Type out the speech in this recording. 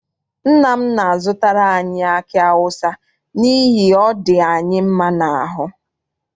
Nna m na-azụtara anyi aki awụsa n'ihi ọ dị anyị mma n'aru.